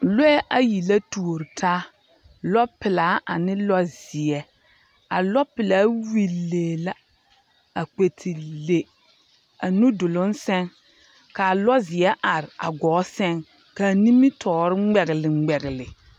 lɔɛ ayi la tuori taa, lɔpelaa ane lɔzeɛ. A lɔpelaa willi lee la a kpɛ te le a nuduloŋ seŋ ka alɔzeɛ are a gɔɔ seŋ, ka animitɔɔre ŋmɛgele ŋmɛgele